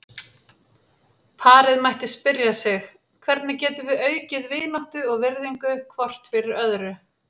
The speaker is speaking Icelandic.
Parið mætti spyrja sig: Hvernig getum við aukið vináttu og virðingu hvort fyrir öðru?